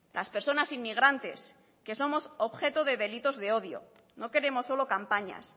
las personas inmigrantes que somos objeto de delitos de odio no queremos solo campañas